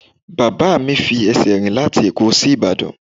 Bàbá mi fi ẹsẹ̀ rìn láti ẹ̀kọ́ sí Ìbàdàn.